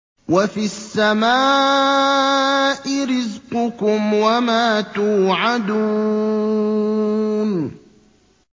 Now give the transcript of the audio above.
وَفِي السَّمَاءِ رِزْقُكُمْ وَمَا تُوعَدُونَ